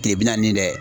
kile bi naani ni dɛ